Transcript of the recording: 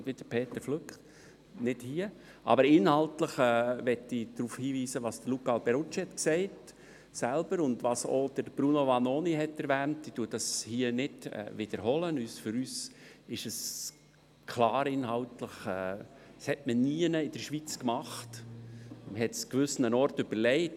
Die Regierung soll sich bei der Schweizerischen Bau-, Planungs- und Umweltdirektoren-Konferenz (BPUK) dafür einsetzen, auf Verordnungsstufe eine Fristverlängerung für die Ausscheidung der Gewässerräume zu erreichen.